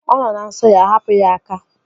Ọ nọ na nsọ ya. Hapụ ya aka!